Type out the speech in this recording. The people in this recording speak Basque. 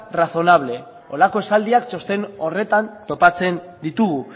razonable horrelako esaldiak txosten horretan topatzen ditugu